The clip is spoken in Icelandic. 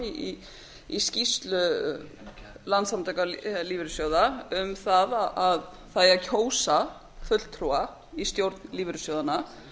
fram í skýrslu landssamtaka lífeyrissjóða um það að það eigi að kjósa fulltrúa í stjórn lífeyrissjóðanna